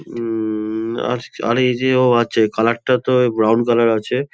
উমমমমম আর আর এই যে ও আছে কালার টা তো ব্রাউন কালার আছে।